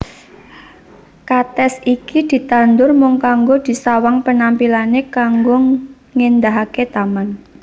Katès iki ditandur mung kanggo disawang penampilané kanggo ngèndahaké taman